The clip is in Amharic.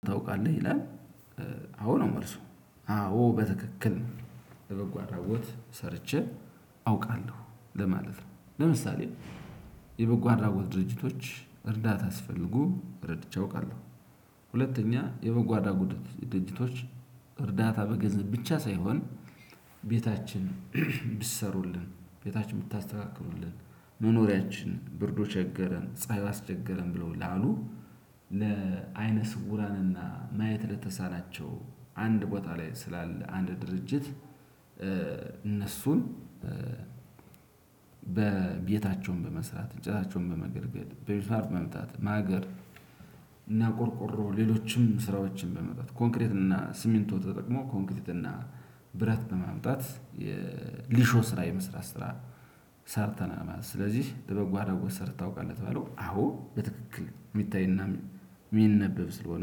ታውቃለህ ይላል? አዎ ነው መልሱ አዎ በትክክል ለበጎ አድራጎት ሰርቼ አውቃለሁ ለማለት ነው። ለምሳሌ የበጎ አድራጎት ድርጅቶች እርዳታ አስፈልጎ እረድቼ አውቃለሁ። ሁለተኛ የበጎ አድራጎት ድርጅቶች እርዳታ በገንዘብ ብቻ ሳይሆን ቤታችን ብትሰሩልን ቤታችን ብታስተካክሉልን መኖሪያችን ብርዱ ቸገረን ፀሀይ አስቸገረን ብለው ላሉ ለአይነ ስውራንና ማየት ለተሳናቸው አንድ ቦታ ላይ ስላለ አንድ ድርጅት። እነሱን በቤታቸውም በመስራት እንጨታቸውንም በመገርገር በሚስማር በመምታት ማገር። እና ቆርቆሮ ሌሎችም ስራዎችን በመመጣት ኮንክሪት እና ሲሚንቶ ተጠቅሞ ኮንክሪት እና ብረት በማምጣት የሊሾ ስራ የመስራት ስራ። ሰርተናማት ስለዚህ ለበጎ አድራጎት ሰርተህ ታውቃለች በተባለው አዎ በትክክል የሚታይና የሚነበብ ስለሆነ